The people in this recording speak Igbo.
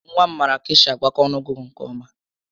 Nwa m maara ka-esi agbakọ ọnụọgụgụ nke ọ́má